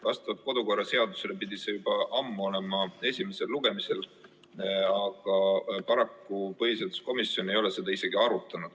Vastavalt kodu- ja töökorra seadusele pidi see juba ammu olema esimesel lugemisel, aga paraku põhiseaduskomisjon ei ole seda isegi arutanud.